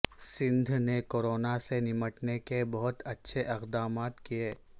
سندھ نے کورونا سے نمٹنے کے بہت اچھے اقدامات کیے